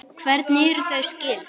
Hvernig eru þau skyld?